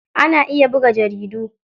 Ana iya buga jaridu.